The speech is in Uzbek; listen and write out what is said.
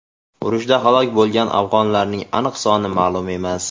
Urushda halok bo‘lgan afg‘onlarning aniq soni ma’lum emas.